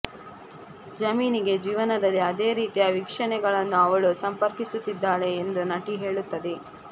ಜಮೀನಿಗೆ ಜೀವನದಲ್ಲಿ ಅದೇ ರೀತಿಯ ವೀಕ್ಷಣೆಗಳನ್ನು ಅವಳು ಸಂಪರ್ಕಿಸುತ್ತಿದ್ದಾಳೆ ಎಂದು ನಟಿ ಹೇಳುತ್ತದೆ